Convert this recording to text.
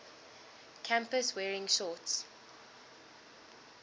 campus wearing shorts